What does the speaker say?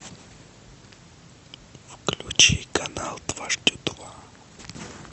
включи канал дважды два